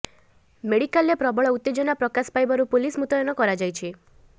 ମେଡିକାଲରେ ପ୍ରବଳ ଉତ୍ତେଜନା ପ୍ରକାଶ ପାଇବାରୁ ପୁଲିସ ମୁତୟନ କରାଯାଇଛି